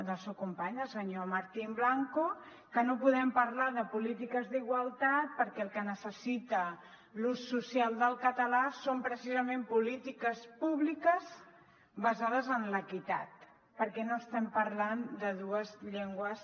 del seu company el senyor martín blanco que no podem parlar de polítiques d’igualtat perquè el que necessita l’ús social del català són precisament polítiques públiques basades en l’equitat perquè no estem parlant de dues llengües